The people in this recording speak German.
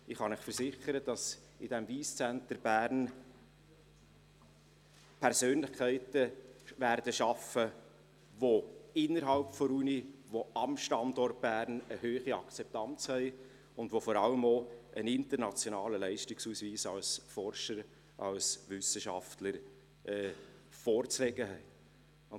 Ich kann Ihnen versichern, dass in diesem Wyss Centre Bern Persönlichkeiten arbeiten werden, die innerhalb der Universität, am Standort Bern, eine hohe Akzeptanz haben und die vor allem auch einen internationalen Leistungsausweis als Forscher, als Wissenschaftler vorzulegen haben.